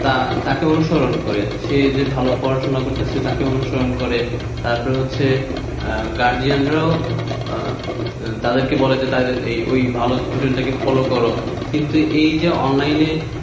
তাকে অনুসরণ করে সে যে ভালো পড়াশোনা করছে তাকে অনুসরণ করে তারপর হচ্ছে guardian রাও বলে যে ওই ভালো student কে follow করো কিন্তু এই যে অনলাইনে,